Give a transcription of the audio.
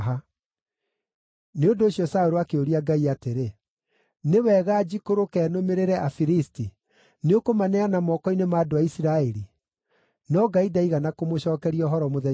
Nĩ ũndũ ũcio Saũlũ akĩũria Ngai atĩrĩ, “Nĩ wega njikũrũke, nũmĩrĩre Afilisti? Nĩũkũmaneana moko-inĩ ma andũ a Isiraeli?” No Ngai ndaigana kũmũcookeria ũhoro mũthenya ũcio.